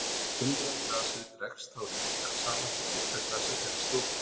Innra glasið dregst þá lítillega saman en ytra glasið þenst út.